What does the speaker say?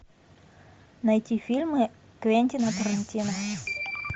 найти фильмы квентина тарантино